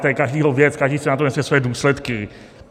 To je každého věc, každý si za to nese své důsledky.